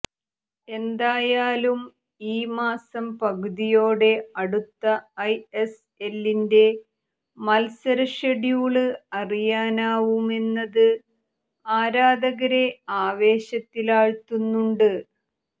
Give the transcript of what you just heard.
എന്തായാലും ഈ മാസം പകുതിയോടെ അടുത്ത ഐ എസ് എല്ലിന്റെ മത്സരഷെഡ്യൂള് അറിയാനാവുമെന്നത് ആരാധകരെ ആവേശത്തിലാഴ്ത്തുന്നുണ്ട്